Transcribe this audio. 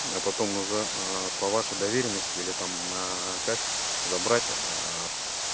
а потом уже аа по вашей доверенности или там наа как забрать аа